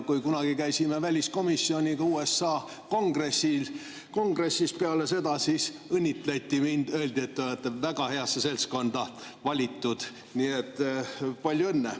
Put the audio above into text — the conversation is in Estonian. Kui kunagi käisime väliskomisjoniga USA Kongressis, siis peale seda õnnitleti mind, öeldi, et ma olen väga heasse seltskonda valitud, nii et palju õnne.